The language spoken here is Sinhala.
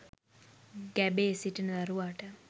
ගැබේ සිටින දරුවාට